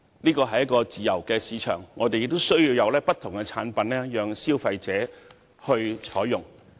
這是一個自由市場，我們需要有不同的產品供消費者選擇。